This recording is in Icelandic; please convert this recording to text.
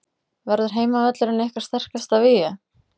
Verður heimavöllurinn ykkar sterkasta vígi?